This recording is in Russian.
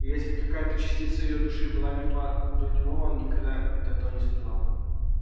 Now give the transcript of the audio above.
и если какая-то частица её души была мертва до него он никогда от этого не страдал